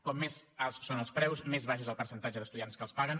com més alts són els preus més baix és el percentatge d’estudiants que els paguen